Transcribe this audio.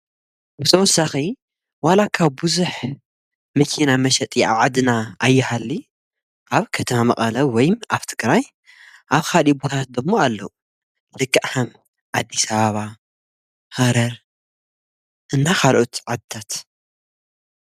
ብተወሳኺ ዋላ እኳ ብዙሕ መኪና መሸጢ ኣብ ዓድና ኣይሃሊ፣ ኣብ ከተማ መቐለ ወይ ኣብ ትግራይ ኣብ ኻሊእ ቦታታት ዶሞ ኣለዉ፡፡ ልክዕ ኸም ኣዲሰ ኣባባ ፣ሃረር እና ኻልኦት ዓድታት፡፡